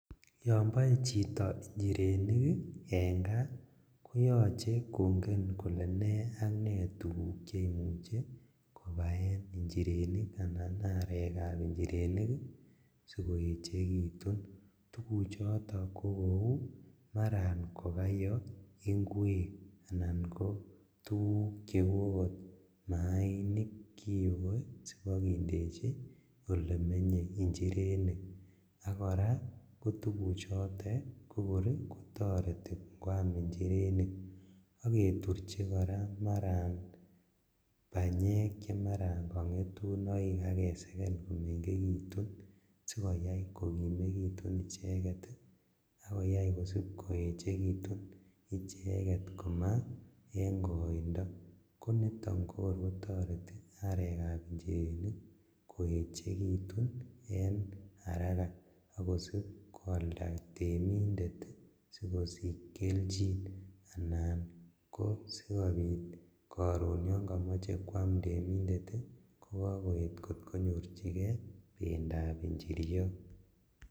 Yon boe choto injirenik en kaa koyoche konai kole nee ak nee tuguk cheyoche kobaen injirenik ana arekab injirenik sikoechekitun tuguchoton kokou maran kayo inkwek anan ko tuguk cheu okot maainik kouoe sibokindeji elemenye injirenik, ak koraa tuguchotet kokor kotoreti ingoam injirenik ak keturji koraa banyek chemaran kongetunoik ak keseken komengekitun sikokimekitun icheket ak koyai kosipkouechelitun icheket komaa en koindo konito kokor kotoreti arekab injirenik koechekitun en haraka ak kosib kwalda temindet sikosich keljin anan kosikobit koron yon komoche si kwam bendo inendet ii kokokoet kor konyorjigee bendab injiriot.